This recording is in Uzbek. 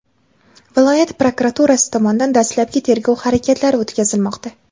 viloyat prokuraturasi tomonidan dastlabki tergov harakatlari o‘tkazilmoqda.